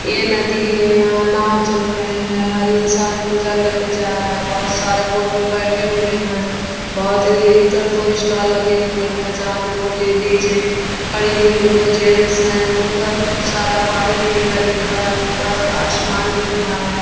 यह नदी है यहाँ नायो चल रहे है हर इंसान पूजा करने जा रहा है बहुत सारे बोट पे बैठे हुए है बहुत इधर दो स्टॉल लगे हुई है जाहा की दो लेडीज है खड़ी हुई है दो जेन्ट्स है उधर क खुब सारा पानी दिख रहा है ऊपर आसमान दिख रहा है।